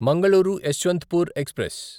Mangaluru Yeshwantpur express